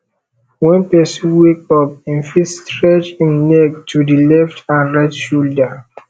when person wake up im fit stretch im neck to di letf and right shoulder